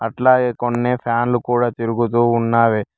అట్లాగే కొన్ని ఫ్యాన్లు కూడా తిరుగుతూ ఉన్నావి.